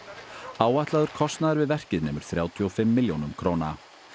áætlaður kostnaður við verkið nemur þrjátíu og fimm milljónum króna